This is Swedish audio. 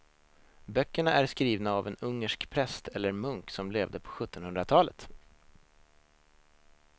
Böckerna är skrivna av en ungersk präst eller munk som levde på sjuttonhundratalet.